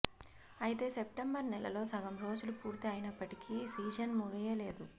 అయితే సెప్టెంబరు నెలలో సగం రోజులు పూర్తి అయినప్పటికీ సీజన్ ముగియలేదు